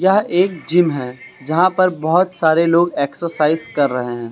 यह एक जिम है जहां पर बहुत सारे लोग एक्सरसाइज कर रहे है।